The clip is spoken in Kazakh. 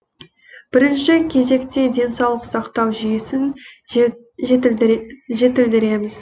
бірінші кезекте денсаулық сақтау жүйесін жетілдіреміз